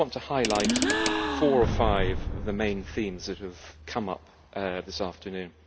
I just want to highlight four or five of the main themes that have come up this afternoon.